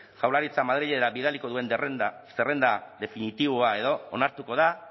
jaurlaritza madrilera bidaliko duen zerrenda definitiboa edo onartuko da